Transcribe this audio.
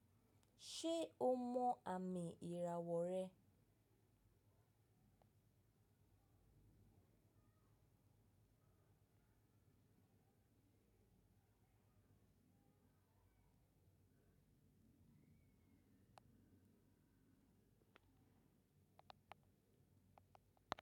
Ṣe o mọ àmì ìràwọ̀ rẹ?